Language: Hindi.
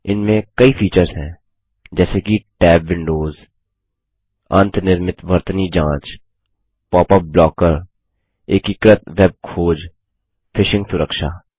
इसमें कई फीचर्स हैं जैसे कि टैब विंडोज़ अंतनिर्मित वर्तनी जाँच पॉपअप ब्लॉकर एकीकृत वेब खोजफिशिंग सुरक्षा